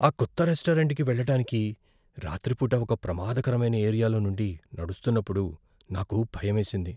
ఆ కొత్త రెస్టారెంట్కి వెళ్ళటానికి రాత్రిపూట ఒక ప్రమాదకరమైన ఏరియాలో నుండి నడుస్తున్నప్పుడు నాకు భయమేసింది.